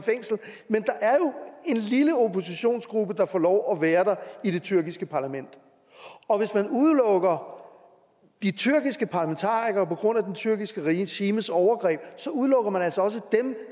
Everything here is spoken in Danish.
lille oppositionsgruppe der får lov at være der i det tyrkiske parlament og hvis man udelukker de tyrkiske parlamentarikere på grund af det tyrkiske regimes overgreb udelukker man altså også dem